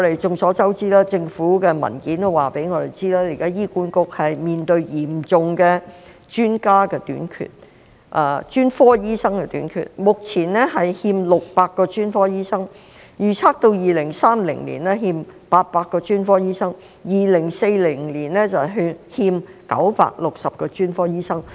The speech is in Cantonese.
眾所周知，政府的文件亦已告訴我們，現時醫院管理局面對嚴重的專家短缺和專科醫生短缺，目前欠600名專科醫生，預測到2030年欠800名專科醫生 ，2040 年欠960名專科醫生。